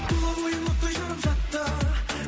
тұла бойым оттай жанып жатты